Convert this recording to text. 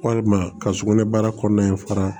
Walima ka sugunɛ bara kɔnɔna in fara